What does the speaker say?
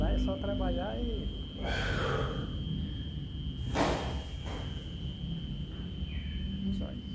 Lá é só trabalhar e (paua). Só isso.